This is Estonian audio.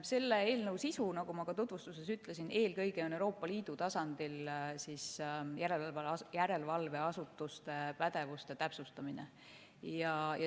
Selle eelnõu sisu, nagu ma tutvustuses ütlesin, on eelkõige Euroopa Liidu tasandil järelevalveasutuste pädevuse täpsustamine.